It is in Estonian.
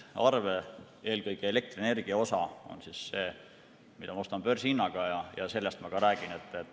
Eelkõige elektrienergia osa on see, mida ma ostan börsihinnaga, ja sellest ma ka räägin.